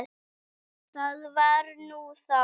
Það var nú þá.